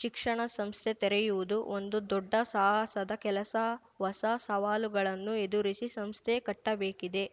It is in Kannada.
ಶಿಕ್ಷಣ ಸಂಸ್ಥೆ ತೆರೆಯುವುದು ಒಂದು ದೊಡ್ಡ ಸಾಹಸದ ಕೆಲಸ ಹೊಸ ಸವಾಲುಗಳನ್ನು ಎದುರಿಸಿ ಸಂಸ್ಥೆ ಕಟ್ಟಬೇಕಿದೆ